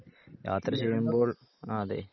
യാത്ര ആഹ് അതെ